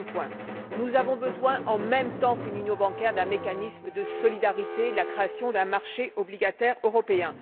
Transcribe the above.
Deuxièmement, nous avons besoin, en même temps que l'union bancaire, d'un mécanisme de solidarité, de la création d'un marché obligataire européen.